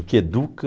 O que educa...